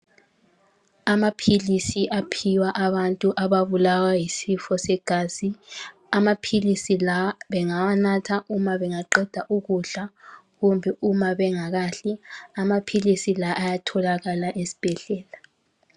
Amaphilisi aphiwa abantu ababulawa yisifo segazi. Amaphilisi lawa bengawanatha uma bengaqeda ukudla kumbe bengakadli. Amaphilisi la ayatholakala esibhedlela.